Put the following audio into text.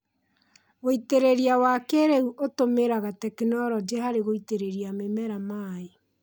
Wĩĩtĩrĩria wa kĩĩrĩu ũtũmĩraga tekinoronjĩ harĩ gũitĩrĩria mĩmera maĩ